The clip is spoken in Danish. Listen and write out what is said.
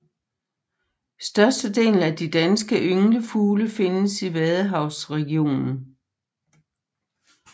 Størstedelen af de danske ynglefugle findes i vadehavsregionen